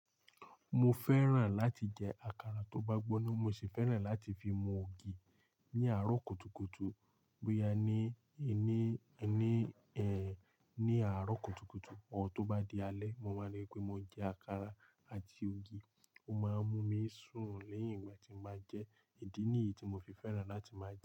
Mo fẹ́ràn láti jẹ àkàrà tó bá gbóná, mo sì fẹ́ràn láti fi mu ògì ní àárọ̀ kùtùkùtù bóyá ni, ẹni, ẹni ẹ, ní àárọ̀ kùtùkùtù ọ tó bá di alẹ́, mo máa rí pé mo jẹ àkàrà àti ògì, ó máa ń mú mi sùn léyìn ìgbà tí mo bá jẹ́, ìdí nìyí tí mo fi fẹ́ràn láti máa jẹ ẹ́